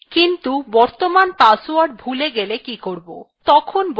কিন্তু বর্তমান password ভুলে গেলে কি করব